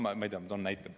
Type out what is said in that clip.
Ma toon pigem näite.